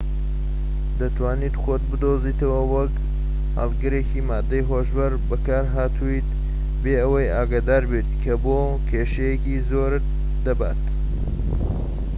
دەتوانیت خۆت بدۆزیتەوە وەک هەڵگرێکی ماددەی هۆشبەر بەکارهاتوویت بێ ئەوەی ئاگادار بیت کە بۆ کێشەیەکی زۆرت دەبات